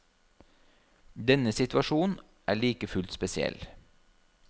Denne situasjon er like fullt spesiell.